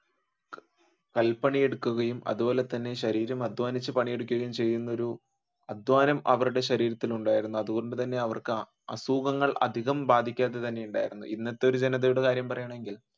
കല്പണി എടുക്കുകയും അതുപോലെ ശരീരം അദ്ധ്വാനിച്ചു പണിയെടുക്കുകയും ചെയ്യുന്ന ഒരു അധ്വാനം അവരുടെ ശരീരത്തിൽ ഉണ്ടായിരുന്നു. അതുകൊണ്ടു തന്നെ അവർക്ക് അസുഖങ്ങൾ അധികം ബാധിക്കാതെ തന്നെ ഉണ്ടായിരുന്നു ഇന്നത്തെ ഒരു ജനതയുടെ കാര്യം പറയുകയാണെങ്കിൽ